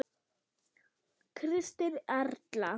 Kristín Erla.